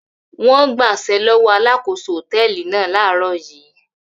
Wọ́n gbaṣẹ́ lọ́wọ́ alákòóso hòtẹ́ẹ́lì náà láàárọ̀ yìí.